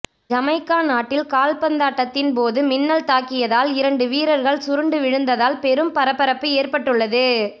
Jamaica நாட்டில் கால்பந்தாட்டத்தின் போது மின்னல் தாக்கியதால் இரண்டு வீரர்கள் சுருண்டு விழுந்ததால் பெரும் பரபரப்பு ஏற்பட்டுள்ளது